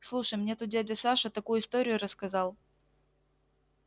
слушай мне тут дядя саша такую историю рассказал